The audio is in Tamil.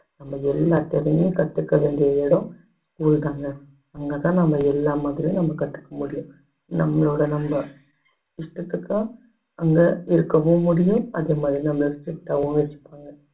நம்ம எல்லா திறமையும் கத்துக்க வேண்டிய இடம் school தாங்க அங்கதான் நம்ம எல்லா மாதிரியும் நம்ம கத்துக்க முடியும் நம்மளோட நம்ப இஷ்டத்துக்கு அங்க இருக்கவும் முடியும் அதே மாதிரி நம்மள strict ஆவும் வச்சிப்பாங்க